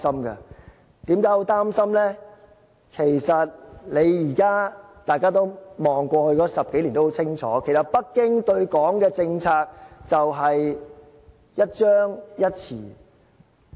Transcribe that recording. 回看過去10多年，大家都很清楚，北京對港的政策就是，一張一弛。